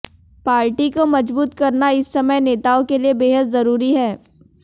party को मजबूत करना इस समय नेताओं के लिए बेहद जरूरी है